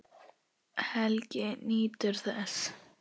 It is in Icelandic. Helgi nýtur þess.